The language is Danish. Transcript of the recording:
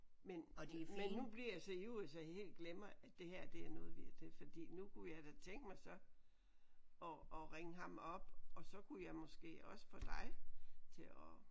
Men men nu bliver jeg så ivrig så jeg helt glemmer at det her det er noget vi det er fordi nu kunne jeg da tænke mig så at at ringe ham op og så kunne jeg måske også få dig til at